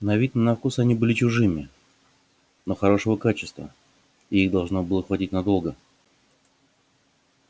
на вид на вкус они были чужими но хорошего качества и их должно было хватить надолго